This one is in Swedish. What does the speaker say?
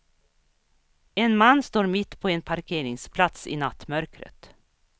En man står mitt på en parkeringsplats i nattmörkret.